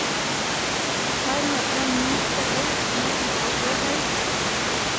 Her møter han ni treller som er ute og slår høy.